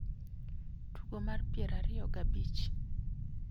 tugo mar piero ariyo gabich